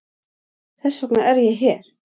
Þess vegna er ég hér.